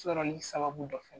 Sɔlen sababu dɔ fɛ.